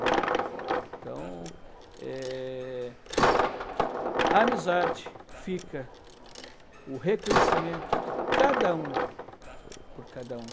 Né? Então, eh, a amizade fica, o reconhecimento de cada um por cada um.